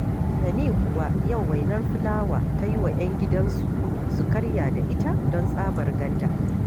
Tani kuwa, yau wainar fulawa ta yi wa 'yan gidansu su karya da ita, don tsabar ganda